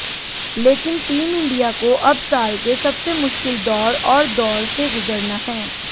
लेकिन team India को अब साल के सबसे मुश्किल दौर और दौरे से गुजरना है